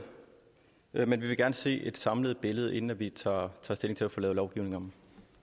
men vi vil gerne se et samlet billede inden vi tager stilling til at få lavet lovgivningen